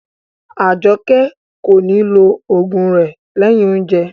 Ajoke ko ni lo ogun rẹ lẹyìn oúnjẹ.